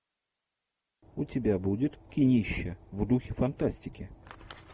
у тебя будет кинище в духе фантастики